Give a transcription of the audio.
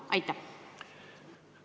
Aitäh!